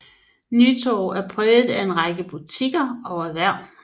Nytorv er præget af en række butikker og erhverv